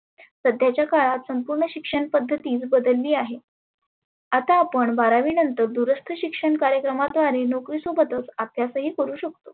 सध्याच्या काळात संपुर्ण शिक्षण पद्धती बदलली आहे. आता आपण बारावी दुरस्त शिक्षण कार्यक्रमाद्वारे नोकरी सोबतच अभ्यासही करु शकतो.